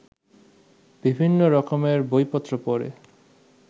বিভিন্ন রকমের বইপত্র পড়ে